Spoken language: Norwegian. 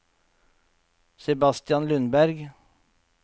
Sebastian Lundberg